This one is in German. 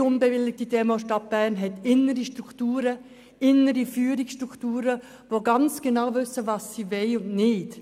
Jede unbewilligte Demonstration in der Stadt Bern hat innere Strukturen, auch Führungsstrukturen mit Leuten, die genau wissen, was sie wollen und was nicht.